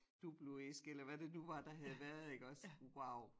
Duploæske eller hvad det nu var der havde været iggås wow